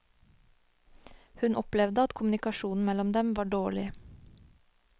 Hun opplevde at kommunikasjonen mellom dem var dårlig.